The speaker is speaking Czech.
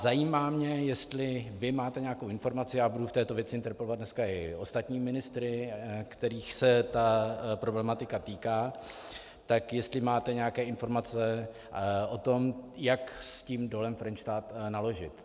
Zajímá mě, jestli vy máte nějakou informaci, já budu v této věci interpelovat dneska i ostatní ministry, kterých se ta problematika týká, tak jestli máte nějaké informace o tom, jak s tím Dolem Frenštát naložit.